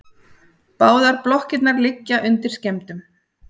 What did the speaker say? Báðar blokkirnar liggja undir skemmdum